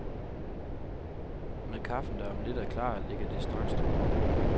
Med kaffen, der om lidt er klar, ligger det straks tungere.